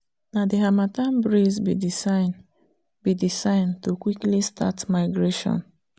na the harmattan breeze be the sign be the sign to quickly start migration